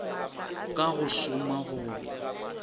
ka go šoma go ya